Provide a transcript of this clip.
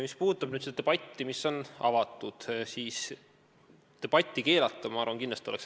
Mis puudutab avatud debatti, siis seda keelata, ma arvan, oleks kindlasti vale.